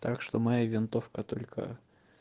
так что моя винтовка только